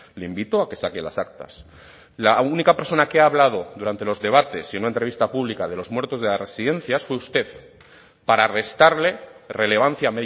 le invito a que saque las actas la única persona que ha hablado durante los debates y una entrevista pública de los muertos de las residencia fue usted para restarle relevancia a